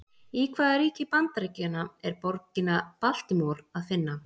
Í hvaða ríki Bandaríkjanna er borgina Baltimore að finna?